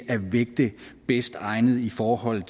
at vægte det bedst egnede i forhold